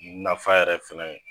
Nafa yɛrɛ fana ye